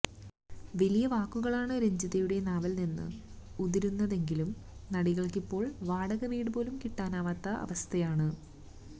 വലിയ വാക്കുകളാണ് രഞ്ജിതയുടെ നാവില് നിന്ന് ഉതിരുന്നതെങ്കിലും നടിക്കിപ്പോള് വാടകവീട് പോലും കിട്ടാനാകാത്ത അവസ്ഥയാണ്